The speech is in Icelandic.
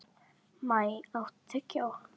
Maj, áttu tyggjó?